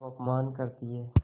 अब अपमान करतीं हैं